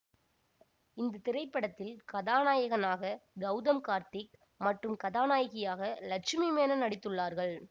இந்த திரைபடத்தில் கதாநாயகனாக கௌதம் கார்த்திக் மற்றும் கதாநாயகியாக லட்சுமி மேனன் நடித்துள்ளார்கள்